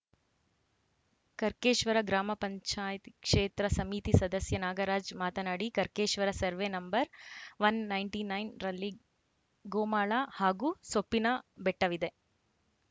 ಕರ್ಕೆಶ್ವರ ಗ್ರಾಮ ಪಂಚಾಯತ್ ಕ್ಷೇತ್ರ ಸಮಿತಿ ಸದಸ್ಯ ನಾಗರಾಜ್‌ ಮಾತನಾಡಿ Karkeshwar survey number one ninety nine ರಲ್ಲಿ ಗೋಮಾಳ ಹಾಗೂ ಸೊಪ್ಪಿನಬೆಟ್ಟವಿದೆ